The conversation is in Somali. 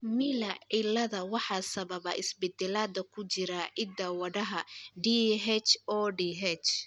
Miller ciilada waxaa sababa isbeddellada ku jira hidda-wadaha DHODH.